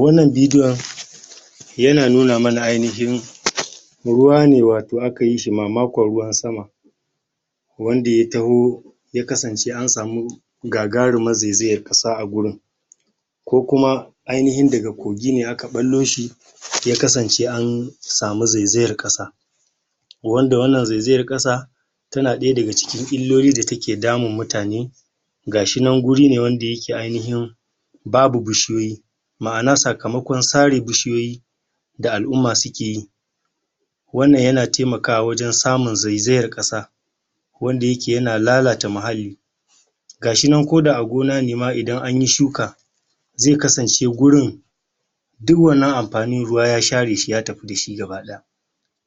Wannan bidiyon yana nuna mana ainihin ruwa ne wato aka yi shi mamakon ruwan sama wanda ya taho ya kasance an samu gagarumar zezayar ƙasa a gurin ko kuma ainihin daga kogi ne aka ɓallo shi ya kasance an samu zezayar ƙasa wanda wannan zezayar ƙasa tana ɗaya daga cikin illoli da take damun mutane ga shi nan guri ne wanda yake ainihin babu bishiyoyi ma'ana sakamakon sare bishiyoyi da al'umma suke yi wannan yana taimakawa wajen samun zezayar ƙasa wanda yake yana lalata mahalli ga shi nan ko da a gona ma idan an yi shuka ze kasance gurin du wannan amfanin ruwa yaa share shi ya tafi da shi gaba-ɗaya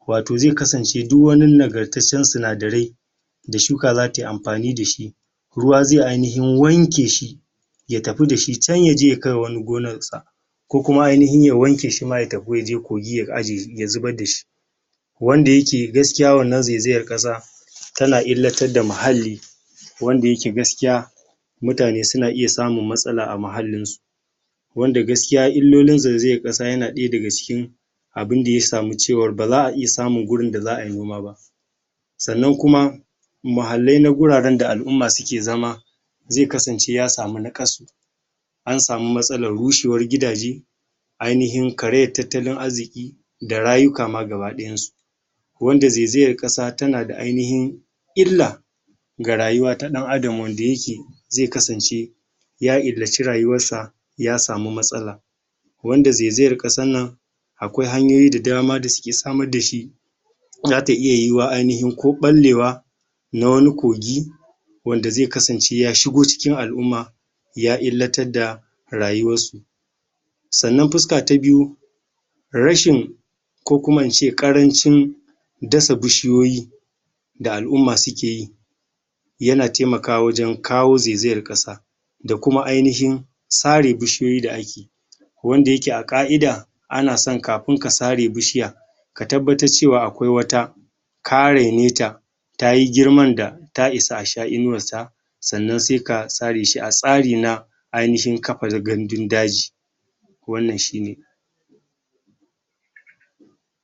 wato ze kasance du wani nagartaccen sinadarai da shuka za ta yi amfani da shi ruwa zai ainihin wanke shi ya tafi da shi can ya je ya kai wa wani gonarsa ko kuma ainihin ya wanke shi ma ya tafi ya je kogi ya zubar da shi wanda yake gaskiya wannan zezayar ƙasa tana illatar da mahalli wanda yake gaskiya mutane suna iya samun matsala a mahallinsu wanda gaskiya illolin zezayar ƙasa yana ɗaya daga cikin abin da ya samu cewa ba za a iya samun gurin da za a yi noma ba sannan kuma mahallai na guraren da al'umma suke zama ze kasance ya samu nakasu an samu matsalar rushewar gidaje ainihin karayar tattalin arziƙi da rayuka ma gabadayansu wanda zezayar ƙasa tana da ainihin illa ga rayuwa ta ɗan Adam wanda yake ze kasance ya illaci rayuwarsa ya samu matsala wanda zezayar ƙasan nan akwai hanyoyi da dama sa suke samar da shi za ta iya yiwuwa ainihin ko ɓallewa na wani kogi wanda ze kasance ya shigo cikin al'umma ya illatar da rayuwarsu sannan fuska ta biyu rashin ko kuma in ce ƙarancin dasa bishiyoyi da al'umma suke yi yana temakawa wajen kawo zezayar ƙasa da kuma ainihin sare bishiyoyi da ake wanda yake a ƙa'ida ana san kafin ka sare bishiya ka tabbatar cewa akwai wata ka reneta ta yi girman da ta isa a sha inuwarsa sannan se ka sare shi a tsari na ainihin kafa gandun-daji wannan shi ne